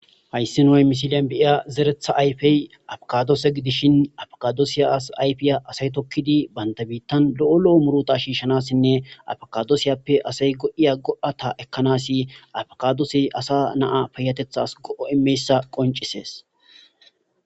hayssi noy misiliyan beiya zeretha ayfey afakadoose gidishin afakadoosiya as ayfiya asay tokkidi banta biittan lo7o lo7o murota shiishshanassinne afakadoosiyappe asay go7iya go7ata ekkanasi afakadoosey asa naa payatethas go7o imeyssa qoncisees